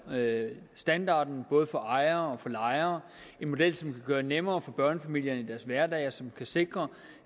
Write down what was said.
standarden både for ejere og for lejere en model som kan gøre det nemmere for børnefamilierne i deres hverdag og som forhåbentlig kan sikre